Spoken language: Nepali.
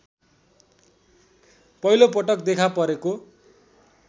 पहिलो पटक देखापरेको